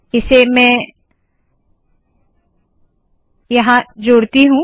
इसे मैं यहाँ जोड़ती हूँ